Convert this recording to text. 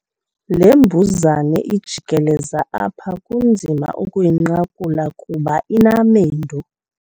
Le mbuzane ijikeleza apha kunzima ukuyinqakula kuba inamendu.